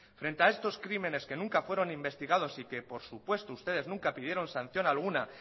frente a estos crímenes que nunca fueron investigados y que por supuesto ustedes nunca pidieron sanción alguna